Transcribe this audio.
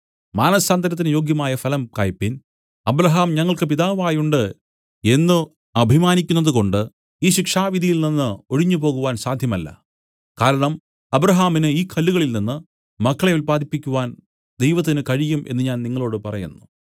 മാനസാന്തരത്തിന് യോഗ്യമായ ഫലം കായ്പിൻ അബ്രാഹാം ഞങ്ങൾക്കു പിതാവായിട്ടുണ്ട് എന്നു അഭിമാനിക്കുന്നതുകൊണ്ട് ഈ ശിക്ഷാവിധിയിൽ നിന്നു ഒഴിഞ്ഞുപോകുവാൻ സാധ്യമല്ല കാരണം അബ്രാഹാമിന് ഈ കല്ലുകളിൽ നിന്നു മക്കളെ ഉല്പാദിപ്പിക്കുവാൻ ദൈവത്തിന് കഴിയും എന്നു ഞാൻ നിങ്ങളോടു പറയുന്നു